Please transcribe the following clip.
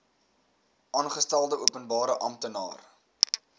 aangestelde openbare amptenaar